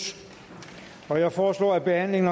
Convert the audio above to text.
jeg foreslår at behandlingen